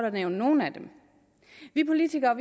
at nævne nogle af dem vi politikere